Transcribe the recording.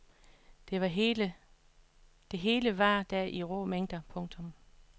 Det hele var der i rå mængder. punktum